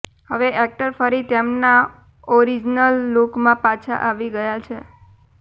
હવે એક્ટર ફરી તેમના ઓરીજીનલ લૂકમાં પાછા આવી ગયા છે